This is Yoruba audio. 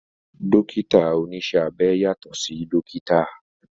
Dókítà oníṣẹ́ abẹ yàtọ̀ sí dókítà